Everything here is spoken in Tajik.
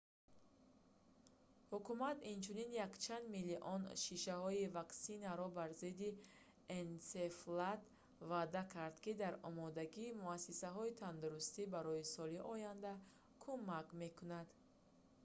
ҳукумат инчунин якчанд миллион шишаҳои ваксинаро бар зидди энсефалит ваъда кард ки дар омодагии муассисаҳои тандурустӣ барои соли оянда кумак мекунад